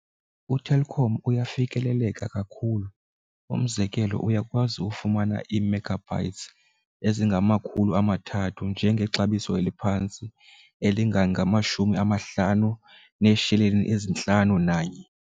UTelkom uyafikeleleka kakhulu, umzekelo uyakwazi ufumana ii-megabytes ezingamakhulu amathathu nje ngexabiso eliphantsi elingangamashumi amahlanu neesheleni ezintlanu nanye.